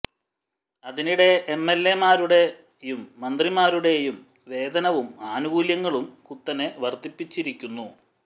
അതിനിടെ M L എമാരുടെയും മന്ത്രിമാരുടെയും വേതനവും ആനുകൂല്യങ്ങളും കുത്തനെ വർധിപ്പിച്ചിരിക്കുന്നു